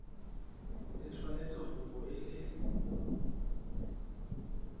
e tshwanetse go bo e